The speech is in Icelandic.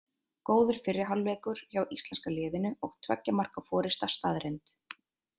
Góður fyrri hálfleikur hjá íslenska liðinu og tveggja marka forysta staðreynd.